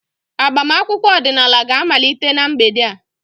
Agbamakwụkwọ ọdịnala ga-amalite na mgbede a.